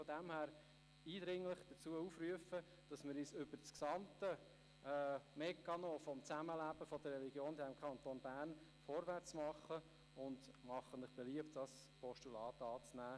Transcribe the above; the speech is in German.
Aber ich rufe eindringlich dazu auf, mit dem gesamten Mechanismus des Zusammenlebens der Religionen im Kanton Bern vorwärtszumachen und das Postulat anzunehmen.